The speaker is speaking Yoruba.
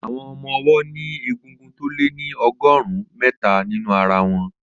Àwọn ọmọ ọwọ́ ní egungun tó lé ní ọgọ́rùn-ún mẹ́ta nínú ara wọn.